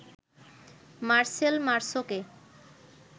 Marcel মার্সোকে